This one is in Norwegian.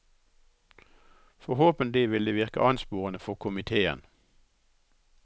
Forhåpentlig vil det virke ansporende for komiteen.